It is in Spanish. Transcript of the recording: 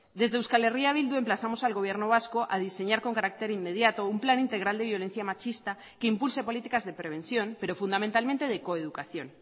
desde euskal herria bildu emplazamos al gobierno vasco a diseñar con carácter inmediato un plan integral de violencia machista que impulse políticas de prevención pero fundamentalmente de coeducación